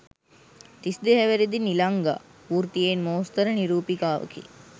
තිස් දෙහැවිරිදි නිලංගා වෘත්තියෙන් මෝස්තර නිරූපිකාවකි.